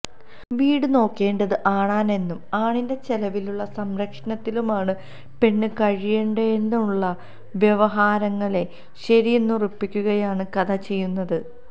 വീടുനോക്കേണ്ടത് ആണാണെന്നും ആണിന്റെ ചെലവിലും സംരക്ഷണയിലുമാണ് പെണ്ണ് കഴിയേണ്ടതെന്നുമുള്ള വ്യവഹാരങ്ങളെ ശരിയെന്നുറപ്പിക്കുകയാണ് കഥ ചെയ്യുന്നത്